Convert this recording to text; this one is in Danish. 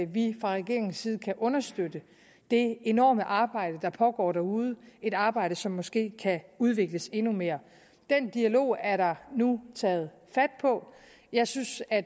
vi fra regeringens side kan understøtte det enorme arbejde der pågår derude et arbejde som måske kan udvikles endnu mere den dialog er der nu taget fat på jeg synes at